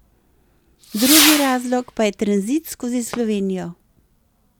Drugi razlog pa je tranzit skozi Slovenijo.